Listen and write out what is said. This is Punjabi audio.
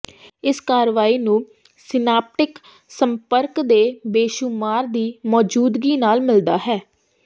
ਇਸ ਕਾਰਵਾਈ ਨੂੰ ਸਿਨਾਪਟਿਕ ਸੰਪਰਕ ਦੇ ਬੇਸ਼ੁਮਾਰ ਦੀ ਮੌਜੂਦਗੀ ਨਾਲ ਮਿਲਦਾ ਹੈ